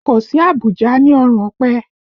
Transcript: Kò sí àbùjá ní ọrùn ọ̀pẹ